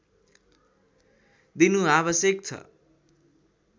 दिनु आवश्यक छ